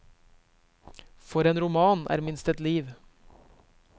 For en roman er minst ett liv.